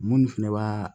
Minnu fɛnɛ b'a